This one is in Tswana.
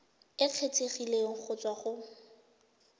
e kgethegileng go tswa go